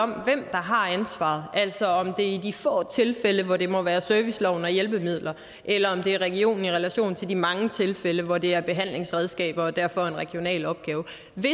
har ansvaret altså om det er i de få tilfælde hvor det må være serviceloven og hjælpemidler eller om det er regionen i relation til de mange tilfælde hvor det er behandlingsredskaber og derfor er en regional opgave